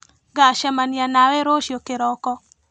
Ngacemania nawe rũciũ kĩroko.